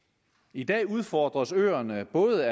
i dag udfordres øerne af både